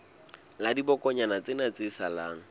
la dibokonyana tsena tse salang